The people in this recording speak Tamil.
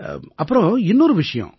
அப்புறம் இன்னொரு விஷயம்